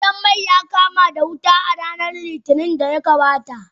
Gidan mai ya kama wuta a ranar Litinin da ta gabata.